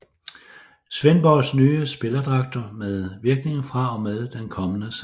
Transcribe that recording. Svendborgs nye spillerdragter med virkning fra og med den kommende sæson